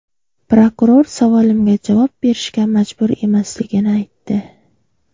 Prokuror savolimga javob berishga majbur emasligini aytdi.